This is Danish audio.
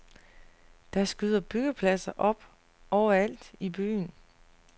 Der skyder byggepladser op overalt i byen.